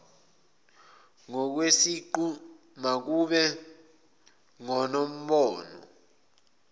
ngokwesiqu makube ngonombono